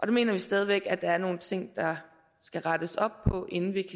mener vi stadig væk at der er nogle ting der skal rettes op på inden vi